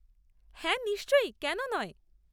হ্যাঁ, নিশ্চয়, কেন নয়?